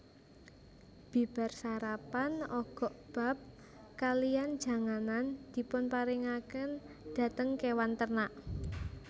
Bibar sarapan ogokbap kalihan janganan dipunparingaken dhateng kewan ternak